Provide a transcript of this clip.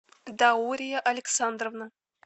даурия александровна